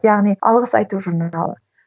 яғни алғыс айту журналы